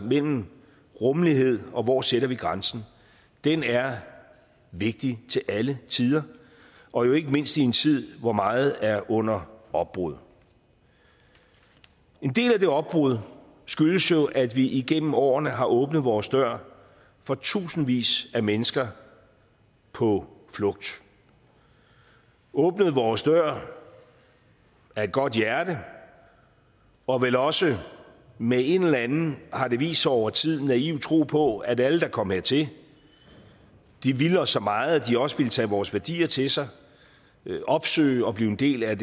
mellem rummelighed og hvor vi sætter grænsen er vigtig til alle tider og jo ikke mindst i en tid hvor meget er under opbrud en del af det opbruddet skyldes jo at vi igennem årene har åbnet vores dør for tusindvis af mennesker på flugt åbnet vores dør af et godt hjerte og vel også med en eller anden har det vist sig over tiden naiv tro på at alle der kom hertil ville os så meget at de også ville tage vores værdier til sig opsøge og blive en del af